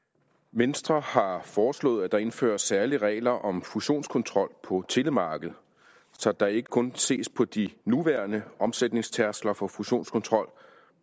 venstre har foreslået at der indføres særlige regler om fusionskontrol på telemarkedet så der ikke kun ses på de nuværende omsætningstærskler for fusionskontrol